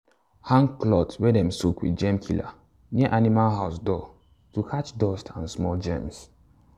hang cloth wey dem soak with germ killer near animal house door to catch dust and small germs.